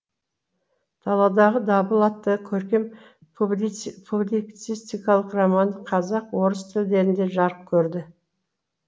даладағы дабыл атты көркем публицистикалық романы қазақ орыс тілдерінде жарық көрді